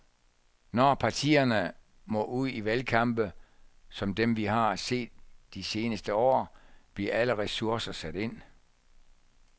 Når partierne må ud i valgkampe, som dem vi har set de seneste år, bliver alle ressourcer sat ind.